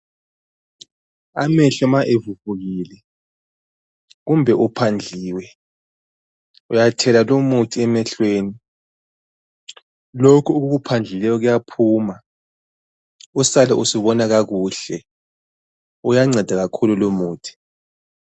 Amehlo ma evuvukile kumbe uphandliwe uyathela lumuthi emehlweni. Lokhu okukuphandlileyo kuyaphuma usale usubona kakuhle uyanceda kakhulu lumuthi.